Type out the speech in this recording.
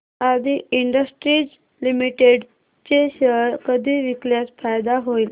आदी industries limited चे share कधी विकल्यास फायदा होईल